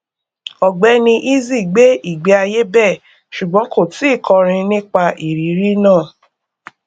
ọgbẹni eazi gbé ìgbéayé bẹẹ ṣùgbọn kò tíì kọrin nípa ìrírí náà